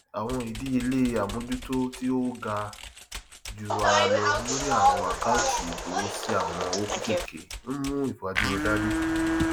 àwọn iléiṣẹ sábà máa sé àjọ àwọn òṣìṣẹ ní ìrọrùn nípasẹ sísanwó sí àsùwọn ìfẹyìntì àwọn ènìyàn púpọ nígbà kan